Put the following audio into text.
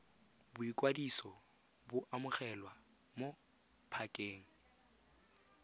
boikwadiso bo amogelwa mo pakeng